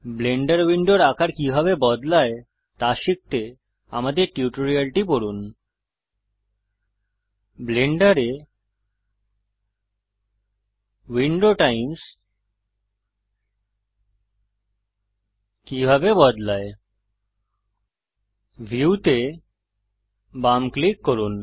Blender উইন্ডোর আকার কিভাবে বদলায় তা শিখতে আমাদের টিউটোরিয়ালটি দেখুন ব্লেন্ডারে উইন্ডো টাইপ্স কিভাবে বদলায় ভিউ তে বাম ক্লিক করুন